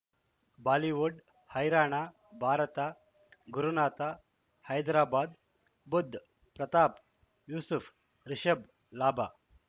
Bollywood ಹೈರಾಣ ಭಾರತ ಗುರುನಾಥ ಹೈದರಾಬಾದ್ ಬುಧ್ ಪ್ರತಾಪ್ ಯೂಸುಫ್ ರಿಷಬ್ ಲಾಭ